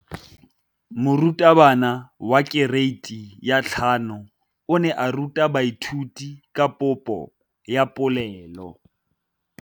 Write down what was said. Moratabana wa kereiti ya 5 o ne a ruta baithuti ka popô ya polelô.